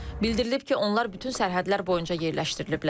Bildirilib ki, onlar bütün sərhədlər boyunca yerləşdiriliblər.